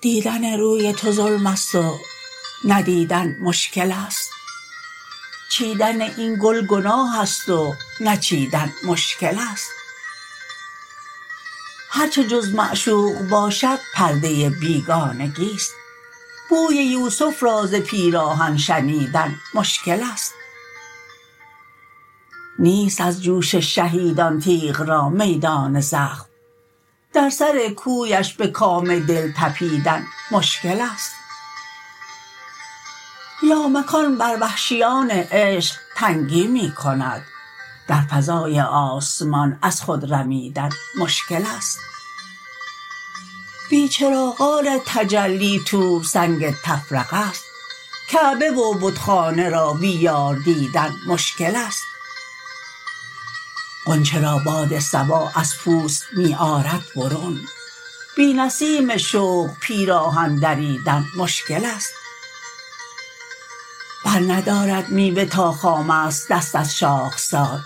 دیدن روی تو ظلم است و ندیدن مشکل است چیدن این گل گناه است و نچیدن مشکل است هر چه جز معشوق باشد پرده بیگانگی است بوی یوسف را ز پیراهن شنیدن مشکل است نیست از جوش شهیدان تیغ را میدان زخم در سر کویش به کام دل تپیدن مشکل است لامکان بر وحشیان عشق تنگی می کند در فضای آسمان از خود رمیدن مشکل است بی چراغان تجلی طور سنگ تفرقه است کعبه و بتخانه را بی یار دیدن مشکل است غنچه را باد صبا از پوست می آرد برون بی نسیم شوق پیراهن دریدن مشکل است بر ندارد میوه تا خام است دست از شاخسار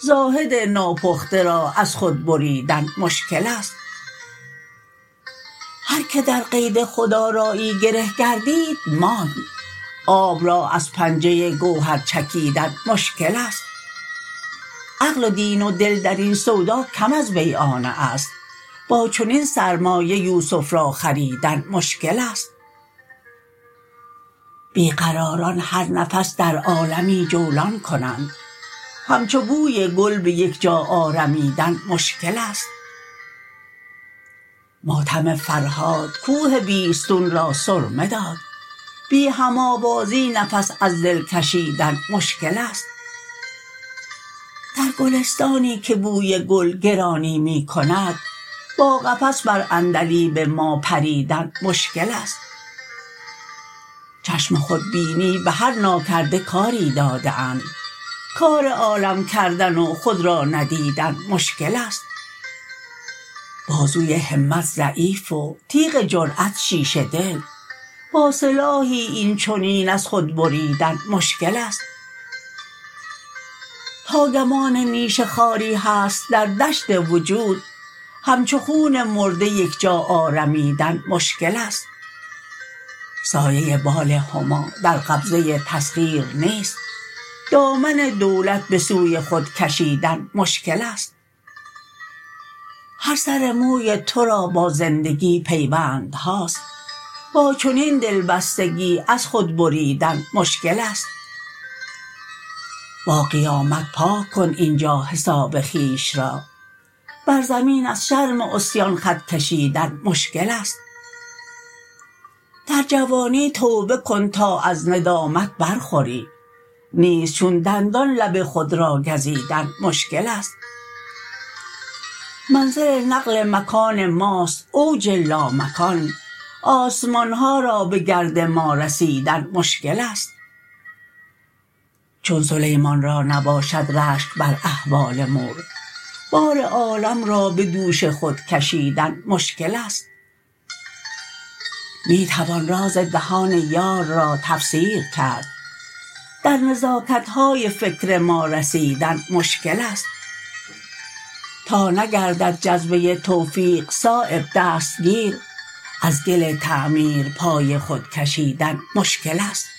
زاهد ناپخته را از خود بریدن مشکل است هر که در قید خودآرایی گره گردید ماند آب را از پنجه گوهر چکیدن مشکل است عقل و دین و دل درین سودا کم از بیعانه است با چنین سرمایه یوسف را خریدن مشکل است بی قراران هر نفس در عالمی جولان کنند همچو بوی گل به یک جا آرمیدن مشکل است ماتم فرهاد کوه بیستون را سرمه داد بی هم آوازی نفس از دل کشیدن مشکل است در گلستانی که بوی گل گرانی می کند با قفس بر عندلیب ما پریدن مشکل است چشم خودبینی به هر ناکرده کاری داده اند کار عالم کردن و خود را ندیدن مشکل است بازوی همت ضعیف و تیغ جرأت شیشه دل با سلاحی این چنین از خود بریدن مشکل است تا گمان نیش خاری هست در دشت وجود همچو خون مرده یک جا آرمیدن مشکل است سایه بال هما در قبضه تسخیر نیست دامن دولت به سوی خود کشیدن مشکل است هر سر موی ترا با زندگی پیوندهاست با چنین دلبستگی از خود بریدن مشکل است با قیامت پاک کن اینجا حساب خویش را بر زمین از شرم عصیان خط کشیدن مشکل است در جوانی توبه کن تا از ندامت برخوری نیست چون دندان لب خود را گزیدن مشکل است منزل نقل مکان ماست اوج لامکان آسمانها را به گرد ما رسیدن مشکل است چون سلیمان را نباشد رشک بر احوال مور بار عالم را به دوش خود کشیدن مشکل است می توان راز دهان یار را تفسیر کرد در نزاکت های فکر ما رسیدن مشکل است تا نگردد جذبه توفیق صایب دستگیر از گل تعمیر پای خود کشیدن مشکل است